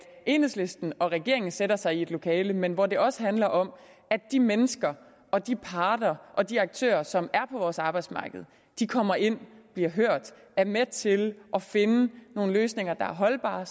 enhedslisten og regeringen sætter sig i et lokale men hvor det også handler om at de mennesker og de parter og de aktører som er på vores arbejdsmarked kommer ind bliver hørt og er med til at finde nogle løsninger der er holdbare